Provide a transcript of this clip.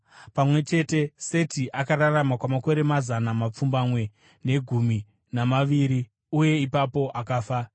Pamwe chete, Seti akararama kwamakore mazana mapfumbamwe negumi namaviri, uye ipapo akafa.